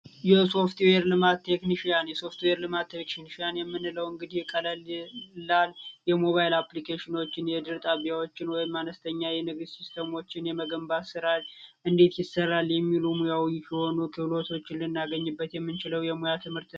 የሶፍትዌር ልማት ቴክኒሺያን የሶፍትዌር ልማት ቴክኒሺያን የምለው እንግዲህ ቀላይ የሞባይል አፕሊኬሽኖችን፣ የድር ጣቢያዎችን ወይም አነስተኛ የንግድ ሲስተሞችን የመገንባት ሥራ እንዴት ይሠራል? የሚል ሙያዊ የሆኑ ክህሎቶችን ልናገኝበት የምንችለው የሙያ ትምህርት